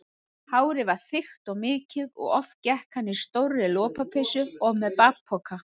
Hárið var þykkt og mikið og oft gekk hann í stórri lopapeysu og með bakpoka.